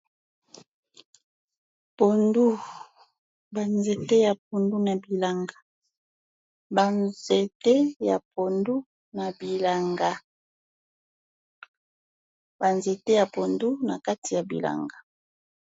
Pondu banzete ya pondu na bilanga, banzete ya pondu na bilanga, Banzete ya pondu nakati ya bilanga.